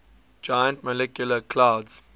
giant molecular clouds